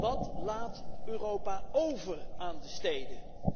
Wat laat Europa over aan de steden?